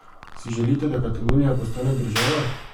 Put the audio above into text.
Si želite, da Katalonija postane država?